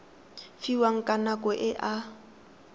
fiwang ka nako e a